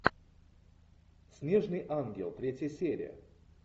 снежный ангел третья серия